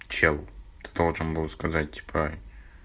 чел ты должен был сказать типа